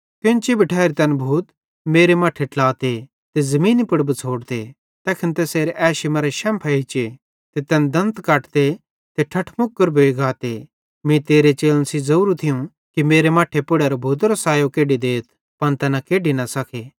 कोन्ची भी ठैरी तैन भूत मेरे मट्ठे ट्लाते ते ज़मीनी पुड़ बिछ़ोड़ते तैखन तैसेरे एशी मरां शैम्फ़ एच्चे ते तैन दंत कटते ते ठठमुकर भोइ गाते मीं तेरे चेलन सेइं ज़ोरू थियूं कि मेरे मट्ठे पुड़ेरां भूतेरो सायो केड्डी देथ पन तैना केड्डी न सके